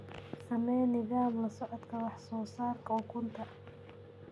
Samee nidaam la socodka wax soo saarka ukunta.